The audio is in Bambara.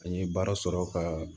An ye baara sɔrɔ ka